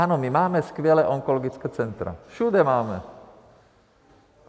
Ano, my máme skvělá onkologická centra, všude máme.